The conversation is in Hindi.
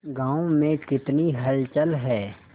गांव में कितनी हलचल है